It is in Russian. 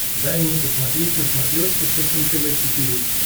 дай мне посмотреть на смотрешке фэшен тв четыре к